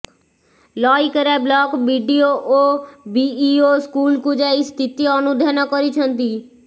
Laikera block BDO ଓ BEO ସ୍କୁଲକୁ ଯାଇ ସ୍ଥିତି ଅନୁଧ୍ୟାନ କରିଛନ୍ତି